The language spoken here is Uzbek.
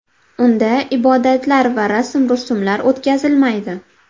Unda ibodatlar va rasm-rusumlar o‘tkazilmaydi.